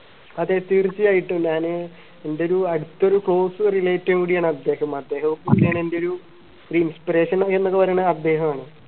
അതെ തീർച്ചയായിട്ടും ഞാന് എൻറെ ഒരു അടുത്തൊരു close relative ഉം കൂടിയാണ് അദ്ദേഹം അദ്ദേഹം എൻറെ ഒരു inspiration എന്നൊക്കെ പറയുന്ന അദ്ദേഹമാണ്